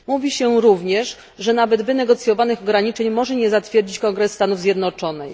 Mówi się również, że nawet wynegocjonowanych ograniczeń może nie zatwierdzić Kongres Stanów Zjednoczonych.